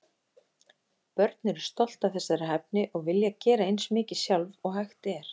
Börn eru stolt af þessari hæfni og vilja gera eins mikið sjálf og hægt er.